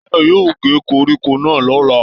Táyọ̀ yóò ge koríko náà l'ọla.